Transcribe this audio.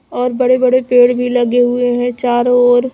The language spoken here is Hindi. और बड़े बड़े पेड़ भी लगे हुए हैं चारों ओर--